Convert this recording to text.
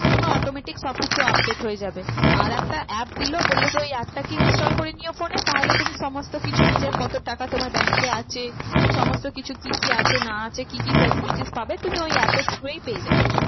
তোমার automatic সব কিছু update হয়ে যাবে। আর একটা app দিলো বললো যে ওই app টাকে install করে নিও phone এ তাহলে তুমি সমস্ত কিছু নিজের কত টাকা তোমার bank এ আছে? সমস্ত কিছু কি কি আছে না আছে কি কি facilities পাবে তুমি ওই app এর through ই পেয়ে যাবে।